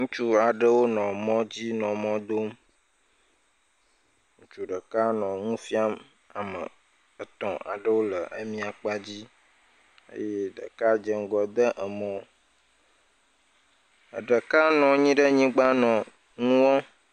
Ŋutsu aɖewo nɔ mɔ dzi nɔ mɔ dom, ŋutsu ɖeka nɔ nu fiam ame etɔ̃ aɖe le emia kpa dzi, eye ɖeka dze ŋgɔ de emɔ, eɖeka nɔ anyi ɖe anyigba nɔ enu wɔm…